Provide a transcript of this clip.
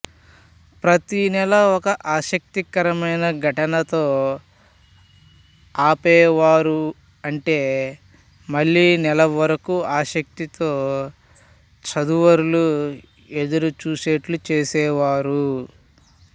ప్రతినెల ఒక ఆసక్తికరమైన ఘటనతో ఆపేవారు అంటే మళ్ళీ నెల వరకు ఆసక్తితో చదువరులు ఎదురు చూసేట్లు చేసేవారు